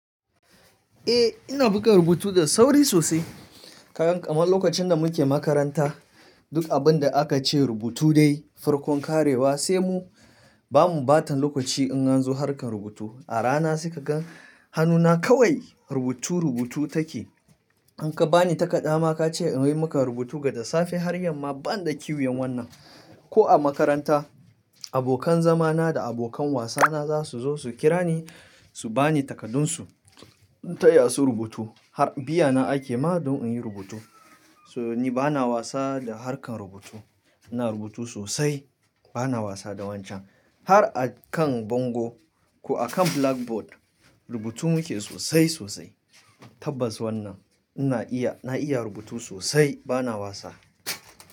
Eh ina buga rubutu da sauri sosai. Ka gan kamar lokacin da muke makaranta duk abin da aka ce rubutu dai farkon karewa sai mu bamu ɓatan lokaci in an zo harkan rubutu. A rana suka ga hannuna kawai rubutu rubutu take. In ka bani takadda ma ka ce in yi maka rubutu gada safe har yamma ban da kiwiyan wannan. Ko a makaranta abokan zamana da abokan wasana za su zo su kira ni su ba ni takaddunsu in taya su rubutu. Har biya na ake ma don in yi rubutu. Toh ni bana wasa da harkar rubutu. Ina rubutu sosai bana wasa da wancan. Har a kan bango ko a kan blackboard rubutu muke sosai sosai. Tabbas wannan ina iya na iya rubutu sosai bana wasa.